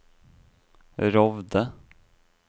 Rovde